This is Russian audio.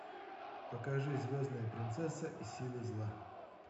покажи звездная принцесса и силы зла